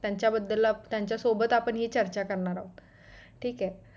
त्याच्याबद्दल त्याच्यासोबत आपण हि चर्चा करणार आहोत ठीक आहे